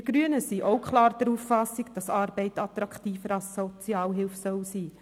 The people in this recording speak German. Wir Grünen sind auch klar der Auffassung, dass Arbeit attraktiver als Sozialhilfe sein soll.